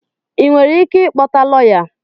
Ị nwere ike ịkpọta lọya?